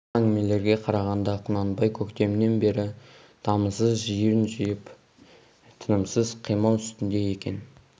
сол әңгімелерге қарағанда құнанбай көктемнен бері дамылсыз жиын жиып тынымсыз қимыл үстінде екен